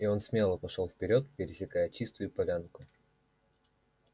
и он смело пошёл вперёд пересекая чистую полянку